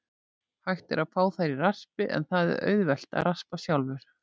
Hægt er að fá þær í raspi, en það er auðvelt að raspa sjálfur.